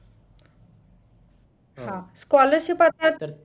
हा scholarship आता तर